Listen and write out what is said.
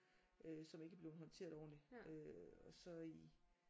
Øh som ikke er blevet håndteret ordentligt øh og så i